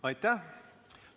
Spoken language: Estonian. Aitäh!